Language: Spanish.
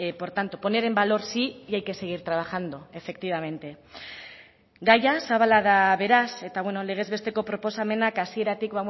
por tanto poner en valor sí y hay que seguir trabajando efectivamente gaia zabala da beraz eta legez besteko proposamenak hasieratik